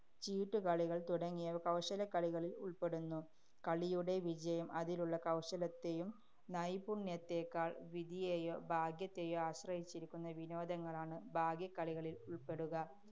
ചീട്ടുകളികള്‍ തുടങ്ങിയവ കൗശലക്കളികളില്‍ ഉള്‍പ്പെടുന്നു. കളിയുടെ വിജയം അതിലുള്ള കൗശലത്തെയും നൈപുണ്യത്തെക്കാള്‍ വിധിയെയോ, ഭാഗ്യത്തെയോ ആശ്രയിച്ചിരിക്കുന്ന വിനോദങ്ങളാണ് ഭാഗ്യക്കളികളില്‍ ഉള്‍പ്പെടുക.